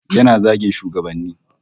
Yana zagin shugabanni